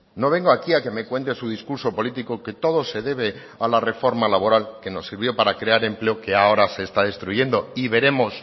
no vengo aquí a que me cuente su discurso político que todo se debe a la reforma laboral que nos sirvió para crear empleo que ahora se está destruyendo y veremos